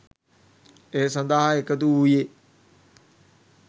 ඒ සඳහා එකතු වූයේ